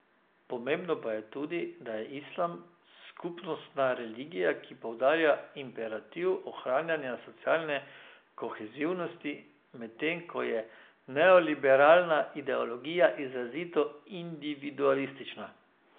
Pomembno pa je tudi, da je islam skupnostna religija, ki poudarja imperativ ohranjanja socialne kohezivnosti, medtem ko je neoliberalna ideologija izrazito individualistična.